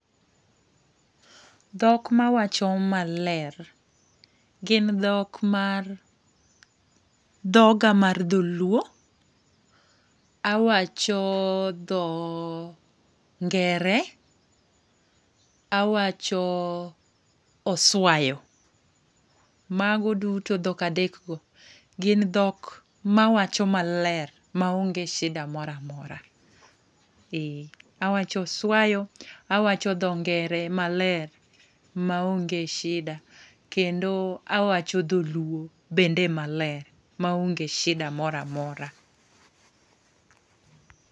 Dhok mawacho maler, gin dhok mar dhoga mar dholuo, awacho dhoo ngere, awacho oswayo. Mago duto dhok adek go gin dhok mawacho maler maonge shida mora mora ee, awacho oswayo, awacho tho ngere maler maonge shida, kendo awacho dholuo maler maonge shida mora mora.